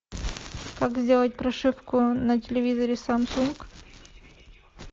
как сделать прошивку на телевизоре самсунг